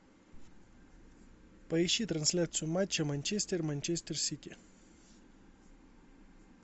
поищи трансляцию матча манчестер манчестер сити